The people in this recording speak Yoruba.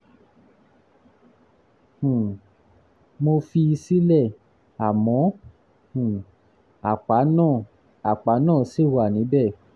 um mo fi í sílẹ̀ àmọ́ um àpá náà àpá náà ṣì wà níbẹ̀